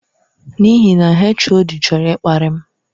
N'ihi na HOD chọrọ ịkparị m.